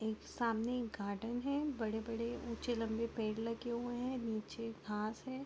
एक सामने एक गार्डन है बड़े-बड़े उच्चे लम्बे पेड़ लगे हुए है नीचे घास है।